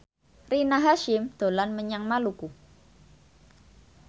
Rina Hasyim dolan menyang Maluku